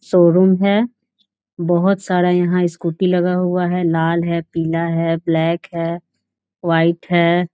Showroom है बहोत सारा यहाँ स्कूटी लगा हुआ है लाल है पीला है ब्लैक है वाइट है।